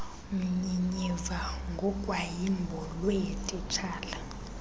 mnyinyiva wogwayimbo lweetitshala